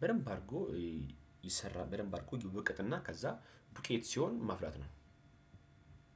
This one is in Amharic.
በደንብ አድርጎ ይሰራል። በደንብ አድርጎ ይውቅጥና ከዛ ዱቄት ሲሆን ማፍላት ነው።